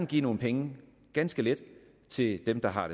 give nogle penge ganske lidt til dem der har